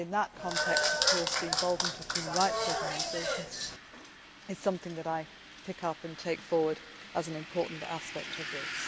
In that context, the involvement of human rights organisations is something which I pick up and take forward as an important aspect of this.